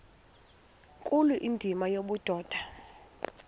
nkulu indima yobudoda